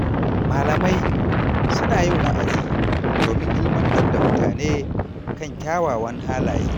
Malamai suna yin wa’azi domin ilmantar da mutane kan kyawawan halaye.